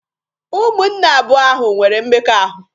Ụmụnne abụọ ahụ nwere mmekọahụ.